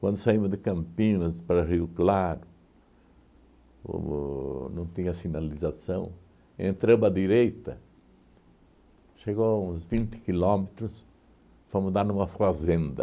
Quando saímos de Campinas para Rio Claro, o o não tinha sinalização, entramos à direita, chegou a uns vinte quilômetros, fomos dar numa fazenda.